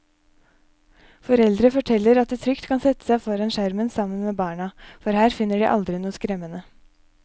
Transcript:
Foreldre forteller at de trygt kan sette seg foran skjermen sammen med barna, for her finner de aldri noe skremmende.